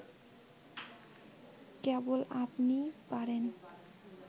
কেবল আপনিই পারেন